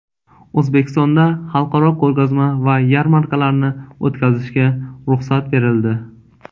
O‘zbekistonda xalqaro ko‘rgazma va yarmarkalarni o‘tkazishga ruxsat berildi.